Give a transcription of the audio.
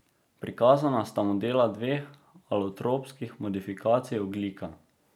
Prikazana sta modela dveh alotropskih modifikacij ogljika.